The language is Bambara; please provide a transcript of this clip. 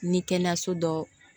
Ni kɛnɛyaso dɔ